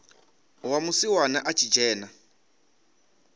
wa musiwana a tshi dzhena